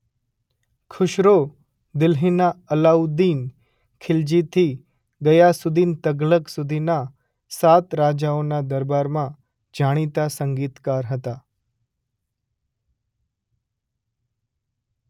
ખુશરો દિલ્હીના અલ્લાઉદ્દીન ખીલજીથી ગયાસુદ્દીન તઘલખ સુધીના સાત રાજાઓના દરબારમાં જાણીતા સંગીતકાર હતા.